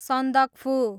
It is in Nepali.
सन्दकफू